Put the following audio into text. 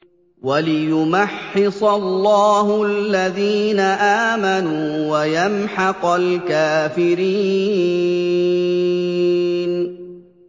وَلِيُمَحِّصَ اللَّهُ الَّذِينَ آمَنُوا وَيَمْحَقَ الْكَافِرِينَ